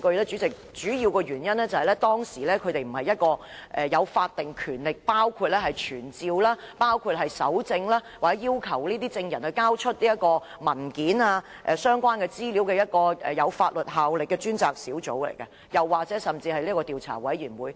主席，主要原因是，專家小組並非一個有法定權力，可傳召證人、搜證或要求證人交出文件及相關資料的專責小組或調查委員會。